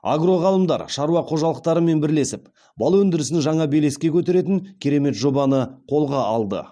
агроғалымдар шаруа қожалықтарымен бірлесіп бал өндірісін жаңа белеске көтеретін керемет жобаны қолға алды